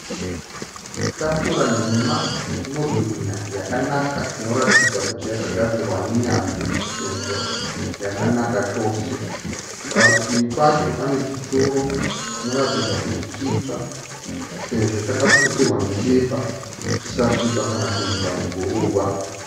Tafura nhema inobwinya yakanaka inoratidza kuti yakagadzirwa nenyanzvi sezvo yakanaka chose. Parutivi pacho panechituro chinoratidza kuti chitsva uyezve chakaputirwa nebepa kuti chisasviba kana kuendwa neguruva.